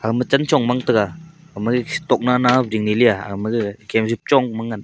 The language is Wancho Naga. agama chanchong mang taiga amaik tok nana ding ai leya amaga Kem jipchong manhan.